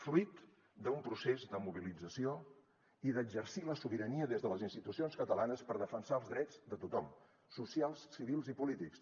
fruit d’un procés de mobilització i d’exercir la sobirania des de les institucions catalanes per defensar els drets de tothom socials civils i polítics